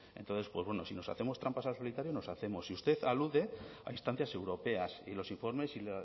entonces pues bueno si nos hacemos trampas al solitario nos hacemos y usted alude a instancias europeas y los informes y